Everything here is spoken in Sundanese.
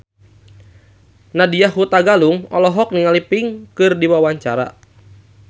Nadya Hutagalung olohok ningali Pink keur diwawancara